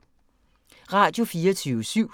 Radio24syv